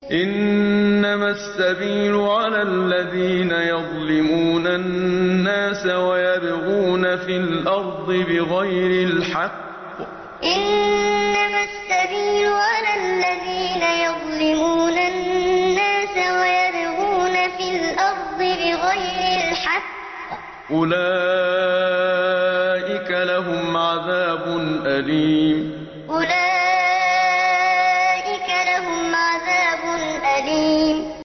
إِنَّمَا السَّبِيلُ عَلَى الَّذِينَ يَظْلِمُونَ النَّاسَ وَيَبْغُونَ فِي الْأَرْضِ بِغَيْرِ الْحَقِّ ۚ أُولَٰئِكَ لَهُمْ عَذَابٌ أَلِيمٌ إِنَّمَا السَّبِيلُ عَلَى الَّذِينَ يَظْلِمُونَ النَّاسَ وَيَبْغُونَ فِي الْأَرْضِ بِغَيْرِ الْحَقِّ ۚ أُولَٰئِكَ لَهُمْ عَذَابٌ أَلِيمٌ